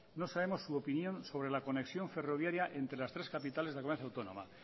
no sabemos su opinión sobre la conexión ferroviaria entre las tres capitales de la comunidad autónoma